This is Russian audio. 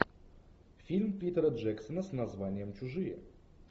фильм питера джексона с названием чужие